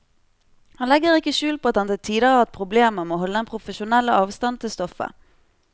Han legger ikke skjul på at han til tider har hatt problemer med å holde den profesjonelle avstand til stoffet.